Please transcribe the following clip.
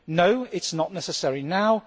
No, it is not necessary now.